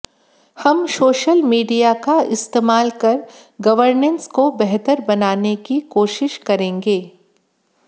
हम social media का इस्तेमाल कर गवर्नेंस को बेहतर बनाने की कोशिश करेंगे